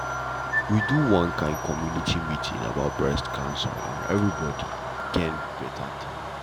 we do one kind community meeting about breast cancer and everybody gain better thing